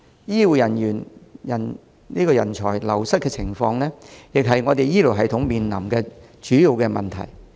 醫護人才流失的情況，亦是醫療系統面臨的主要問題。